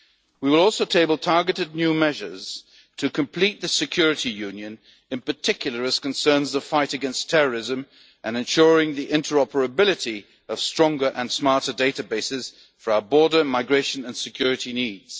protection. We will also table targeted new measures to complete the security union, in particular as concerns the fight against terrorism and ensuring the interoperability of stronger and smarter databases for our border migration and security